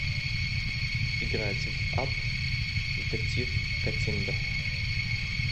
играть в апп детектив каттиндер